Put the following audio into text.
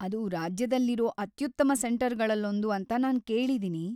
ಅದು ರಾಜ್ಯದಲ್ಲಿರೋ ಅತ್ಯುತ್ತಮ ಸೆಂಟರ್‌ಗಳಲ್ಲೊಂದು ಅಂತ ನಾನ್ ಕೇಳಿದೀನಿ.